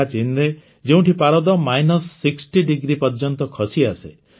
ସିଆଚିନ୍ରେ ଯେଉଁଠି ପାରଦ minus sixty ୬୦ degree ପର୍ଯ୍ୟନ୍ତ ଖସିଆସେ